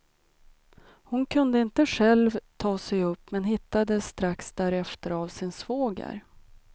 Hon kunde inte själv ta sig upp men hittades strax därefter av sin svåger.